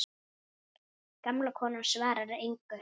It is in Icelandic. Gamla konan svarar engu.